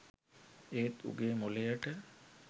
ඒත් උගේ මොළයට